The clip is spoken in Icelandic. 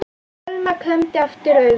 Selma klemmdi aftur augun.